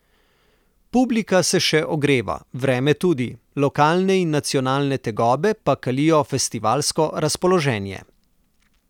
Publika se še ogreva, vreme tudi, lokalne in nacionalne tegobe pa kalijo festivalsko razpoloženje.